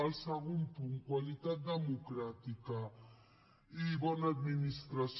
el segon punt qualitat democràtica i bona administració